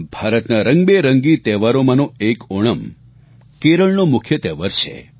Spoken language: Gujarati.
ભારતના રંગબેરંગી તહેવારોમાંનો એક ઓણમ કેરળનો મુખ્ય તહેવાર છે